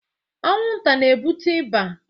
Anwụnta na-ebute ịba